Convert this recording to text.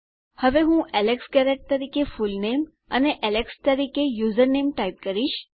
હવે હું Alex Garrett તરીકે ફૂલનેમ અને એલેક્સ તરીકે યુઝરનેમ ટાઈપ કરીશ